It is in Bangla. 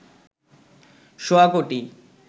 সোয়া কোটি